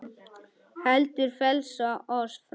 heldur frelsa oss frá illu.